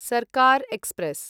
Sarkar express